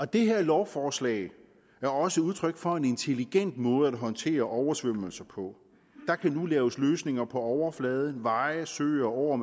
det her lovforslag er også udtryk for en intelligent måde at håndtere oversvømmelser på der kan nu laves løsninger for overflader veje søer åer